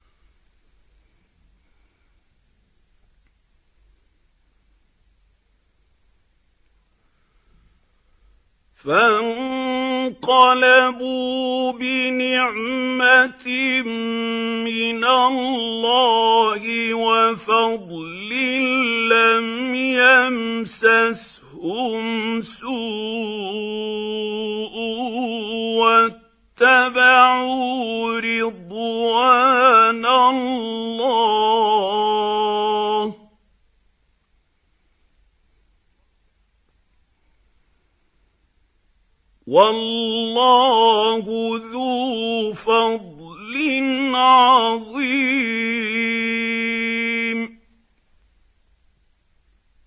فَانقَلَبُوا بِنِعْمَةٍ مِّنَ اللَّهِ وَفَضْلٍ لَّمْ يَمْسَسْهُمْ سُوءٌ وَاتَّبَعُوا رِضْوَانَ اللَّهِ ۗ وَاللَّهُ ذُو فَضْلٍ عَظِيمٍ